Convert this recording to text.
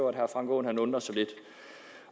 at herre frank aaen undrer sig lidt